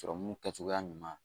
Sɔrɔmu kɛcogoya ɲuman